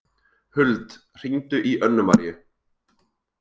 Huld, hringdu í Önnumaríu.